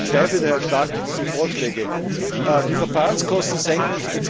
Ich bezweifele daher stark, dass diese Vorschläge die Verfahrenskosten senken.